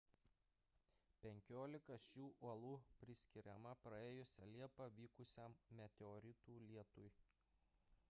penkiolika šių uolų priskiriama praėjusią liepą vykusiam meteoritų lietui